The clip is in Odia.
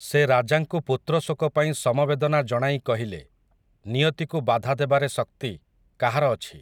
ସେ ରାଜାଙ୍କୁ ପୁତ୍ରଶୋକ ପାଇଁ ସମବେଦନା ଜଣାଇ କହିଲେ, ନିୟତିକୁ ବାଧା ଦେବାରେ ଶକ୍ତି, କାହାର ଅଛି ।